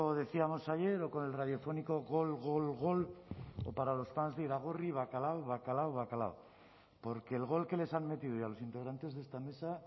decíamos ayer o con el radiofónico gol gol gol o para los fans de iragorri bacalao bacalao bacalao porque el gol que les han metido hoy a los integrantes de esta mesa